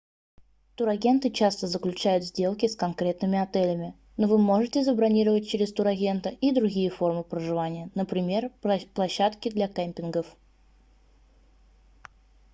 турагенты часто заключают сделки с конкретными отелями но вы можете забронировать через турагента и другие формы проживания например площадки для кемпингов